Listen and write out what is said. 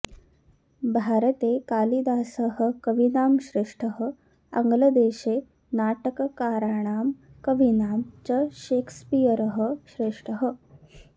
भारते कालिदासः कवीनां श्रेष्ठः आङ्ग्लदेशे नाटककाराणां कवीनां च शेक्स्पीयरः श्रेष्ठः